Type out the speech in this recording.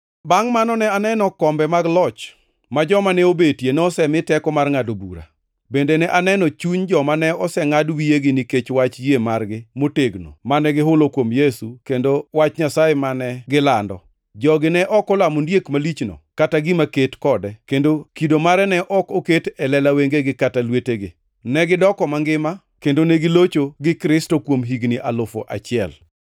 Bangʼ mano, ne aneno kombe mag loch, ma joma ne obetie nosemi teko mar ngʼado bura. Bende ne aneno chuny joma ne osengʼad wiyegi nikech wach yie margi motegno mane gihulo kuom Yesu kendo wach Nyasaye mane gilando. Jogi ne ok olamo ondiek malichno kata gima ket kode kendo kido mare ne ok oket e lela wengegi kata lwetegi. Negidoko mangima kendo negilocho gi Kristo kuom higni alufu achiel.